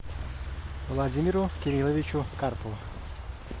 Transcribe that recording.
владимиру кирилловичу карпову